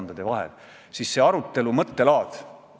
Austatud Madis Milling, esimesel lugemisel võtavad sõna fraktsioonide esindajad.